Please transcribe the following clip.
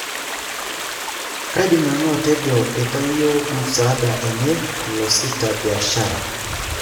Kadim nanu atejo aitayio musada enye losita 'biashara''.